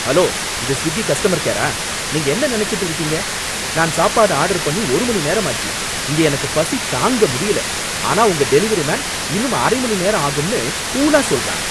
Hello, இது Swiggy customer கேரா? நீங்க என்ன நினைச்சுட்டு இருக்கீங்க! நான் சாப்பாடு ஆர்டர் பண்ணி ஒரு மணி நேரம் ஆச்சு, இங்க எனக்கு பசி தாங்க முடியல, ஆனா உங்க டெலிவரி மேன் இன்னும் அரை மணிநேரம் ஆகும்னு கூலா சொல்றான்.